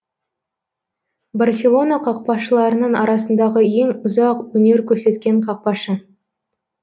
барселона қақпашыларының арасындағы ең ұзақ өнер көрсеткен қақпашы